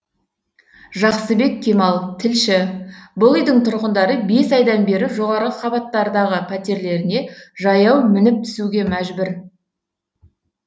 жақсыбек кемал тілші бұл үйдің тұрғындары бес айдан бері жоғары қабаттардағы пәтерлеріне жаяу мініп түсуге мәжбүр